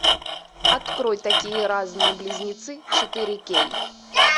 открой такие разные близнецы четыре кей